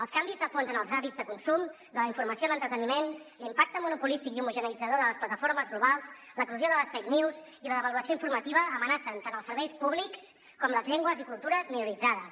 els canvis de fons en els hàbits de consum de la informació i l’entreteniment l’impacte monopolístic i homogeneïtzador de les plataformes globals l’eclosió de les fake news i la devaluació informativa amenacen tant els serveis públics com les llengües i cultures minoritzades